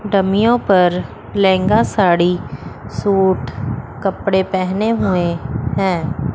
डमियों पर लहंगा साड़ी सूट कपड़े पहने हुए हैं।